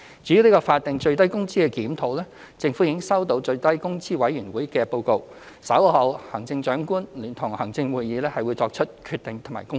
至於法定最低工資水平的檢討，政府已收到最低工資委員會的報告，稍後行政長官會同行政會議會作出決定及公布。